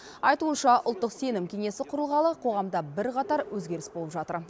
айтуынша ұлттық сенім кеңесі құрылғалы қоғамда бірқатар өзгеріс болып жатыр